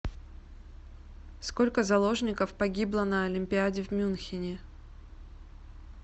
сколько заложников погибло на олимпиаде в мюнхене